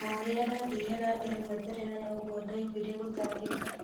Oũrĩa ndathire na mbere gwetetera noguo ndaiguire gũtangĩka.